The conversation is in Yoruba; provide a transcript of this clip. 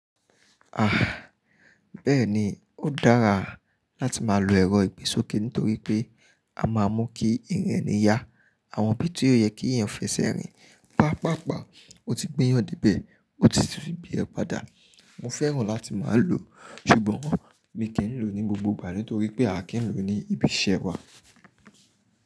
Ah! Bẹ́ẹ̀ni, ó dára láti má lo ẹ̀rọ ìgbésókè nitorí pé a máa mú kí iriǹ ẹ̀ni yá. Àwọn ibí tio yẹ kí eeyàn fẹsẹ̀ rìn. Pápàpá, o ti gbẹ́yàn díbẹ̀, o ti fi bí ẹ padà. Mo fẹ́ràn láti má lo, ṣùgbọ́n mi kì í lò ó ní gbogbo ìgbà nítorí pé a kì í lò ó ní ibi iṣẹ́ wa.